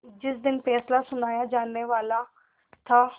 जिस दिन फैसला सुनाया जानेवाला था